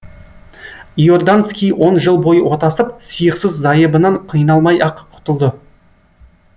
иорданский он жыл бойы отасып сиықсыз зайыбынан қиналмай ақ құтылды